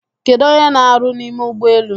Kedụ onye n'aru n'ime ụgbọelu?